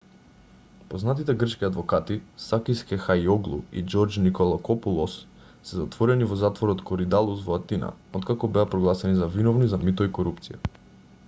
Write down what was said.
познатите грчки адвокати сакис кехајиоглу и џорџ николакопулос се затворени во затворот коридалус во атина откако беа прогласени за виновни за мито и корупција